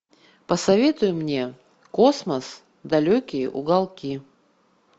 посоветуй мне космос далекие уголки